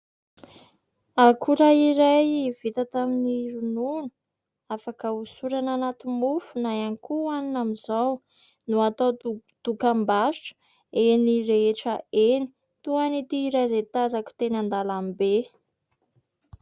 Akora iray vita tamin'ny ronono, afaka hosorana anaty mofo na ihany koa hoanina amin'izao no atao dokam-barotra eny rehetra eny toa an'ity iray izay tazako teny an-dàlambe.